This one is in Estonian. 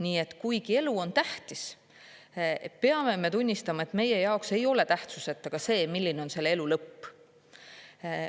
Nii et kuigi elu on tähtis, peame tunnistama, et meie jaoks ei ole tähtsuseta ka see, milline on selle elu lõpp.